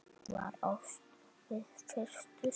Var ást við fyrstu sýn.